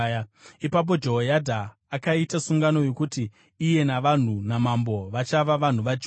Ipapo Jehoyadha akaita sungano yokuti iye navanhu namambo vachava vanhu vaJehovha.